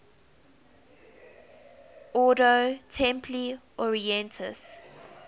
ordo templi orientis